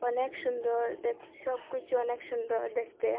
অনেক সুন্দর দেখ সবকিছু অনেক সুন্দর দেখতে।